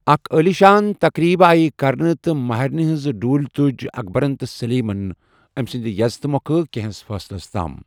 اَکھ عٲلی شان تقریٖب آیہِ کرنہٕ تہٕ مہریٚنہِ ہِنٛز ڈوُٗلہِ تُج اکبَرن تہٕ سٔلیٖمن أمہِ سٕنٛدِ یزتہٕ مۄکھٕ کیٚنٛہس فاصلس تام ۔